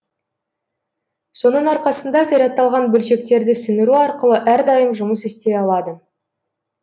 соның арқасында зарядталған бөлшектерді сіңіру арқылы әрдайым жұмыс істей алады